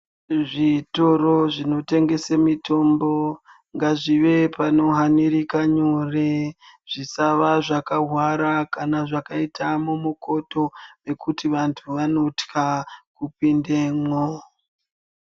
Zvitoro zvinotengesa mitombo, ngazvive pano hanirika nyore. Zvisaa zvakahwara kana mwakaita mumikoto ngekuti anthu anothla kupindemwo.